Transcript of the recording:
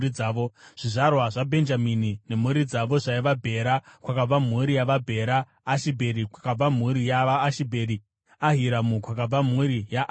Zvizvarwa zvaBhenjamini nemhuri dzavo zvaiva: Bhera, kwakabva mhuri yavaBhera; Ashibheri, kwakabva mhuri yavaAshibheri; Ahiramu, kwakabva mhuri yaAhiramu;